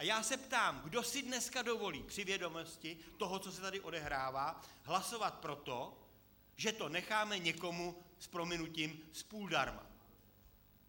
A já se ptám, kdo si dneska dovolí při vědomosti toho, co se tady odehrává, hlasovat pro to, že to necháme někomu - s prominutím - způldarma.